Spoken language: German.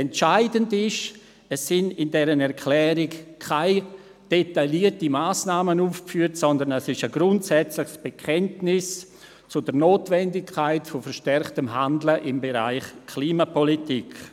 Entscheidend ist, dass in dieser Erklärung keine detaillierten Massnahmen aufgeführt sind, sondern es ist ein grundsätzliches Bekenntnis zur Notwendigkeit verstärkten Handelns im Bereich Klimapolitik.